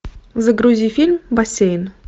загрузи фильм бассейн